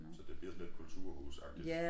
Men så det blver sådan ldit kulturhus agtig